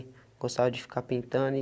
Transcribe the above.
Gostava de ficar pintando e.